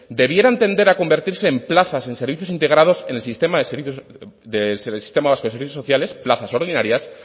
debieran tender a convertirse en plazas en servicios integrados en el sistema vasco de servicios sociales plazas ordinarias